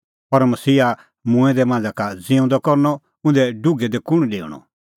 और मसीहा मूंऐं दै मांझ़ा का ज़िऊंदै करदअ उंधै डुघै दी कुंण डेऊणअ